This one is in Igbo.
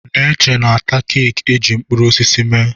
Neche na-ata keeki eji mkpụrụ osisi mee.